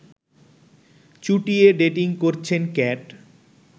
চুটিয়ে dating করছেন cat